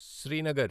Srinagar